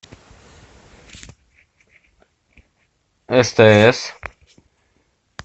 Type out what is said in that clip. стс